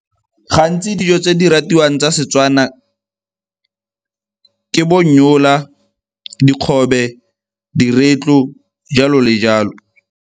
Gantsi dijo tse di ratiwang tsa Setswana ke bo nnyola, dikgobe, diretlo, jalo le jalo.